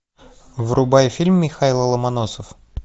врубай фильм михайло ломоносов